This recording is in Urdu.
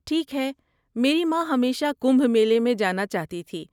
ٹھیک ہے، میری ماں ہمیشہ کمبھ میلے میں جانا چاہتی تھی۔